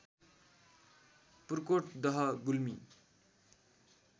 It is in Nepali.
पुर्कोट दह गुल्मी